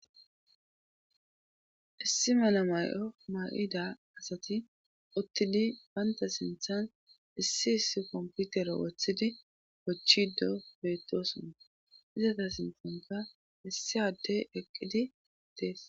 Issi mala may7o maqida asati uttidi baynta sinthan issi issi komputero woththidi kochchido beettosuna izata sintanka issi adde eqqidi tees